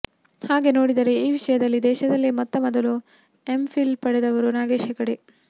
ಹಾಗೆ ನೋಡಿದರೆ ಈ ವಿಷಯದಲ್ಲಿ ದೇಶದಲ್ಲೇ ಮೊತ್ತ ಮೊದಲು ಎಂಫಿಲ್ ಪಡೆದವರು ನಾಗೇಶ್ ಹೆಗಡೆ